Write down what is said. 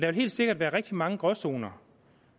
vil helt sikkert være rigtig mange gråzoner